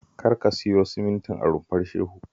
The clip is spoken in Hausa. Kar ka siyo simintin a Rumfar Shehu